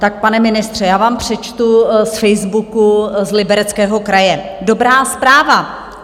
Tak pane ministře, já vám přečtu z facebooku z Libereckého kraje: Dobrá zpráva.